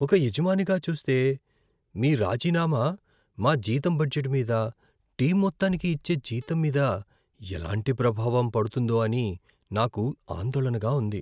ఒక యజమానిగా చూస్తే, మీ రాజీనామా మా జీతం బడ్జెట్ మీద, టీమ్ మొత్తానికి ఇచ్చే జీతం మీద ఎలాంటి ప్రభావం పడుతుందో అని నాకు ఆందోళనగా ఉంది.